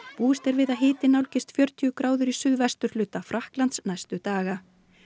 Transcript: búist er við að hitinn nálgist fjörutíu gráður í suðvesturhluta Frakklands næstu daga